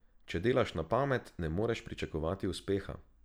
Če delaš na pamet, ne moreš pričakovati uspeha.